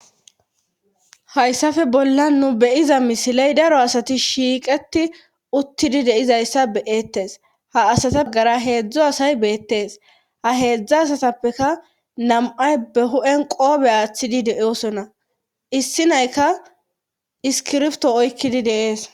hayssafe bollan nu beyiza misiley daro asati shiiqeti uttidi deizayssa beeettes ha asata gara heedzdzo asay beettees ha heedzdza asatappeka nam7ay be hu7en qoobe aaththidi deosona issi nayka iskirfto oykkidi de'ees